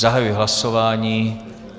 Zahajuji hlasování.